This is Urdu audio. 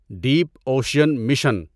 deep ocean mission